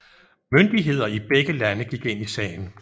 Myndigheder i begge lande gik ind i sagen